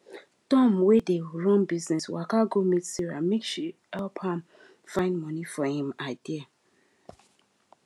tom wey dey run business waka go meet sarah make she help am find money for him idea